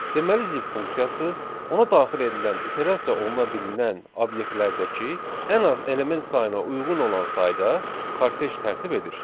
Deməli zip funksiyası, ona daxil edilən iterasiya oluna bilinən obyektlərdəki ən az element sayına uyğun olan sayda kortej tərtib edir.